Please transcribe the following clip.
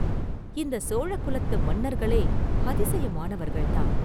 இந்தச் சோழ குலத்து மன்னர்களே அதிசயமானவர்கள்தான்!